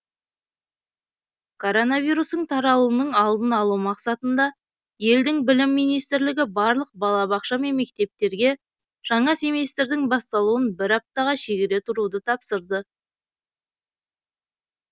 коронавирустың таралуының алдын алу мақсатында елдің білім министрлігі барлық балабақша мен мектептерге жаңа семестрдің басталуын бір аптаға шегере тұруды тапсырды